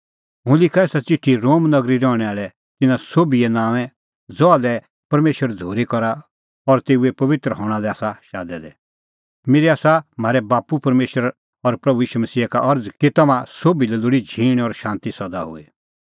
हुंह लिखा एसा च़िठी रोम नगरी रहणैं आल़ै तिन्नां सोभिए नांओंऐं ज़हा लै परमेशर झ़ूरी करा और तेऊए पबित्र हणां लै आसा शादै दै मेरी आसा म्हारै बाप्पू परमेशर और प्रभू ईशू मसीहा का अरज़ कि तम्हां सोभी लै लोल़ी झींण और शांती सदा हुई